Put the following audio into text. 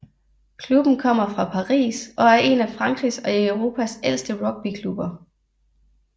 Klubben kommer fra Paris og er en af Frankrigs og Europas ældste rugbyklubber